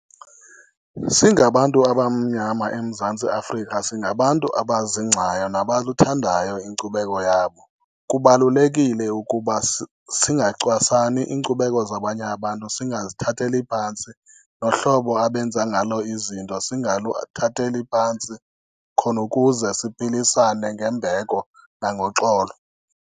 Singabantu abamnyama eMzantsi Afrika singabantu abazingcayo nabaluthandayo inkcubeko yabo, kubalulekile ukuba singacwasani, iinkcubeko zabanye abantu singazithatheli phantsi. Nohlobo abenza ngalo izinto singaluthatheli phantsi khona ukuze siphilisane ngembeko nangoxolo.